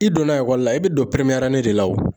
I donna ekɔli la i bɛ don de la wo